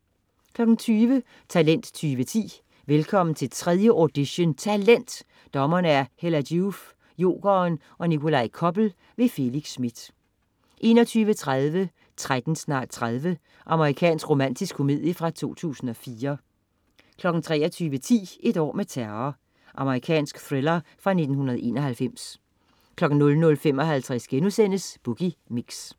20.00 Talent 2010. Velkommen til 3. audition "Talent"! Dommere: Hella Joof, Jokeren og Nikolaj Koppel. Felix Smith 21.30 13 snart 30. Amerikansk romantisk komedie fra 2004 23.10 Et år med terror. Amerikansk thriller fra 1991 00.55 Boogie Mix*